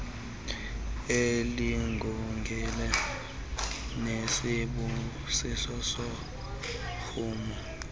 ililungelo nesambuku sorhumo